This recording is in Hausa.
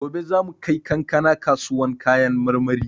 Gobe za mu kai kankana kasuwan kayan marmari.